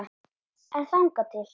En þangað til?